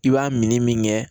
I b'a min min kɛ